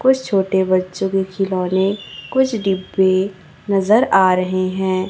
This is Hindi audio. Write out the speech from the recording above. कुछ छोटे बच्चों के खिलौने कुछ डिब्बे नजर आ रहे हैं।